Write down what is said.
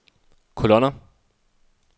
kolonner